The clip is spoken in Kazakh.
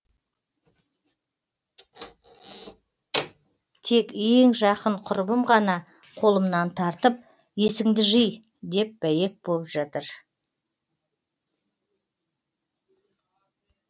тек ең жақын құрбым ғана қолымнан тартып есіңді жи деп бәйек боп жатыр